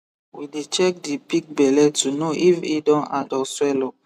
we dey check the pig belle to know if hin don hard or swell up